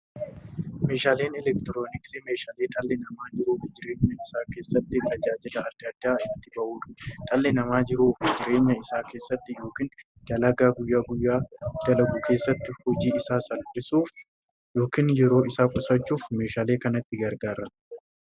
Meeshaaleen elektirooniksii meeshaalee dhalli namaa jiruuf jireenya isaa keessatti, tajaajila adda addaa itti bahuudha. Dhalli namaa jiruuf jireenya isaa keessatti yookiin dalagaa guyyaa guyyaan dalagu keessatti, hojii isaa salphissuuf yookiin yeroo isaa qusachuuf meeshaalee kanatti gargaarama.